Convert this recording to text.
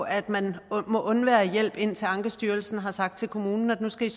at man må undvære hjælp indtil ankestyrelsen har sagt til kommunen at nu skal